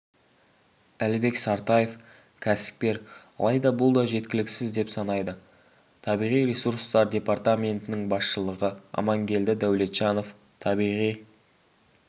әлібек сартаев кәсіпкер алайда бұл да жеткіліксіз деп санайды табиғи ресурстар департаментінің басшылығы амангелді дәулетжанов табиғи